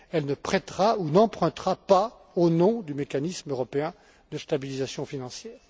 Elle ne prêtera ou n'empruntera pas au nom du mécanisme européen de stabilisation financière.